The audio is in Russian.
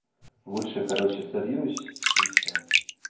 лучше короче сольюсь и всё